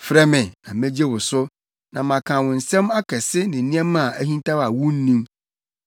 ‘Frɛ me na megye wo so, na maka wo nsɛm akɛse ne nneɛma a ahintaw a wunnim.’